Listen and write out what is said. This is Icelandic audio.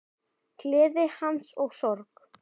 Gleði hans og sorg.